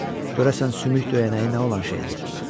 Görəsən sümük döyənəyi nə olan şeydir?